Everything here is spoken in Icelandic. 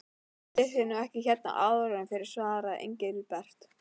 Það leyndi sér nú ekki hérna áður fyrr svaraði Engilbert.